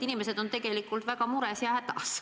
Inimesed on tegelikult väga mures ja hädas.